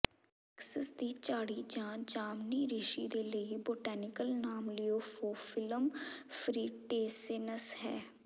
Texas ਦੀ ਝਾੜੀ ਜਾਂ ਜਾਮਨੀ ਰਿਸ਼ੀ ਦੇ ਲਈ ਬੋਟੈਨੀਕਲ ਨਾਮ ਲੀਓਫੋਫਿਲਮ ਫ੍ਰੀਟੇਸੇਨਸ ਹੈ